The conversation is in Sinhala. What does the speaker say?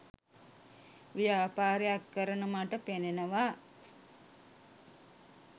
ව්‍යාපාරයක් කරන මට පෙනෙනවා